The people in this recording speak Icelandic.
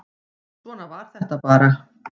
Svona var þetta bara.